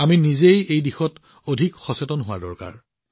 আমি নিজেও এই দিশত অধিক সচেতন হোৱাটো প্ৰয়োজন